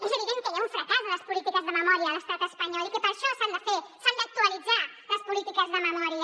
és evident que hi ha un fracàs de les polítiques de memòria a l’estat espanyol i per això s’han d’actualitzar les polítiques de memòria